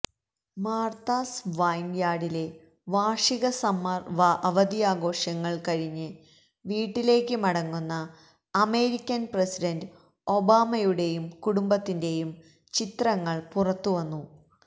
Martha's വൈൻയാർഡിലെ വാർഷിക summer അവധിയാഘോഷങ്ങൾ കഴിഞ്ഞ് വീട്ടിലേക്ക് മടങ്ങുന്ന അമേരിക്കൻ പ്രസിഡന്റ് ഒബാമയുടെയും കുടുംബത്തിന്റെയും ചിത്രങ്ങൾ പുറത്ത് വന്നു